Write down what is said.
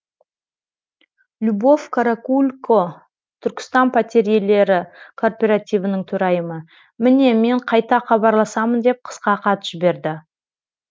любовь каракулько түркістан пәтер иелері кооперативінің төрайымы міне мен қайта хабарласамын деп қысқа хат жіберді